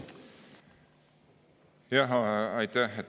Aitäh!